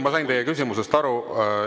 Ma sain teie küsimusest aru.